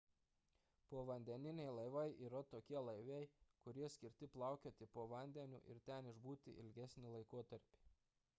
povandeniniai laivai yra tokie laivai kurie skirti plaukioti po vandeniu ir ten išbūti ilgesnį laikotarpį